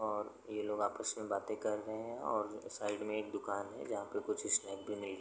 और ये लोग आपस में बातें कर रहे हैं और साइड में एक दुकान है। जहाँ पे कुछ स्नैक भी मिल --